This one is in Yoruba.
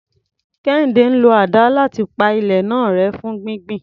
Kehinde ń lo àdá láti pa ilẹ̀ náà rẹ́ fún gbígbìn.